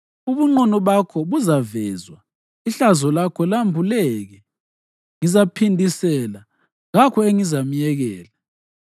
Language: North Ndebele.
Ubunqunu bakho buzavezwa, ihlazo lakho lambuleke. Ngizaphindisela, kakho engizamyekela.”